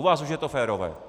U vás už je to férové.